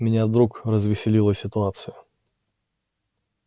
меня вдруг развеселила ситуация